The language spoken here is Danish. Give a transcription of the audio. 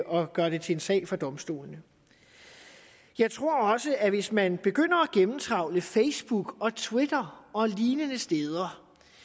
og gør det til en sag for domstolene jeg tror også at hvis man begynder at gennemtrawle facebook og twitter og lignende steder